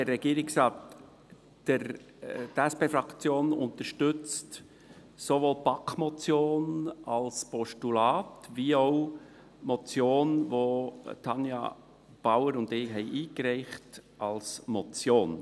Die SP-JUSO-PSAFraktion unterstützt sowohl die BaK-Motion als Postulat wie auch die Motion, die Tanja Bauer und ich eingereicht haben , als Motion.